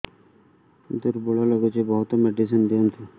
ଦୁର୍ବଳ ଲାଗୁଚି ବହୁତ ମେଡିସିନ ଦିଅନ୍ତୁ